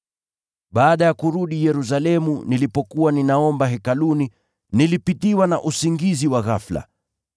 “Baada ya kurudi Yerusalemu, nilipokuwa ninaomba Hekaluni, nilipitiwa na usingizi wa ghafula